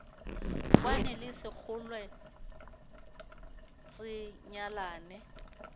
kwane le sekgole re nyalane